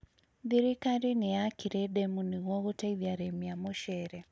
Thirikari nĩyakire demu nĩguo gũteithia arĩmi a mũcere